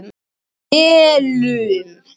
Melum